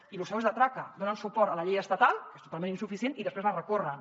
i lo seu és de traca donen suport a la llei estatal que és totalment insuficient i després la recorren